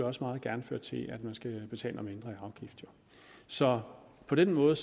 også meget gerne føre til at man skal betale noget mindre i afgift så på den måde